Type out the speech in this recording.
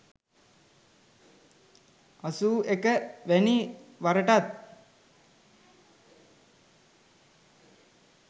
81 වැනි වරටත්